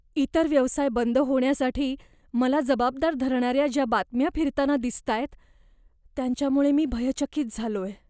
इतर व्यवसाय बंद होण्यासाठी मला जबाबदार धरणाऱ्या ज्या बातम्या फिरताना दिसतायत, त्यांच्यामुळे मी भयचकित झालोय.